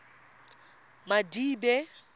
madibe